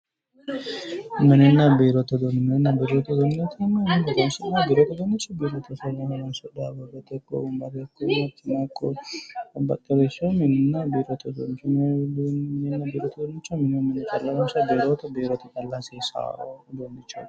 Mininna biirote uduuicho, mini uduunichi mine calla horonsi'neemmoho, biirote uduunichi babbaxinoricho garinni biirote calla hasiisano uduunichoti.